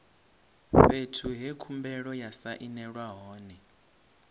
fhethu he khumbelo ya sainelwa hone